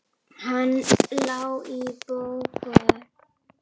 Hann lá í bókum.